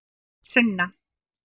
Sunna